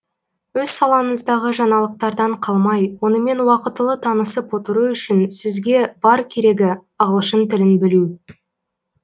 өз салаңыздағы жаңалықтардан қалмай онымен уақытылы танысып отыру үшін сізге бар керегі ағылшын тілін білу